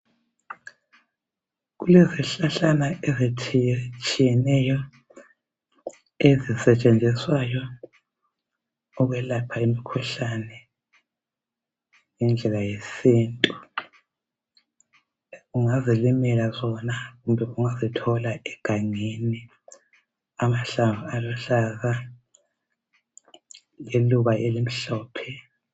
Kulezihlahlana ezitshiyetshiyeneyo ezisetshenziswayo ukwelapha imikhuhlane ngendlela yesintu. Ungazilimela zona kumbe ungazithola egangeni amahlamvu aluhlaza, liluba elimhlophe.